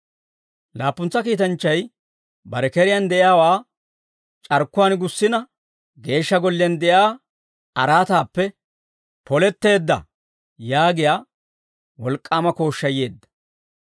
Laappuntsa kiitanchchay bare keriyaan de'iyaawaa c'arkkuwaan gussina, Geeshsha Golliyaan de'iyaa araataappe, «Poletteedda» yaagiyaa wolk'k'aama kooshshay yeedda.